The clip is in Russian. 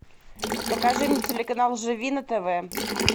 покажи мне телеканал живи на тв